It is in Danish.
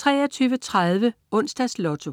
23.30 Onsdags Lotto